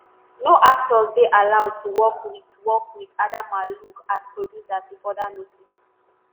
no actor dey allowed to work wit work wit adamma luke as producer till further notice.”